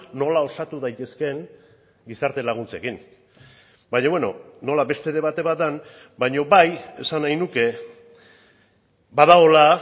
nola osatu daitezkeen gizarte laguntzekin baina beno nola beste debate bat den baina bai esan nahi nuke badagoela